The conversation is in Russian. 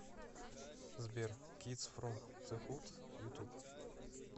сбер кидс фром зе худ ютуб